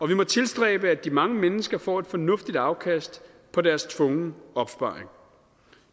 vi må tilstræbe at de mange mennesker får et fornuftigt afkast af deres tvungne opsparing